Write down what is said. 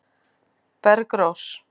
Bergrós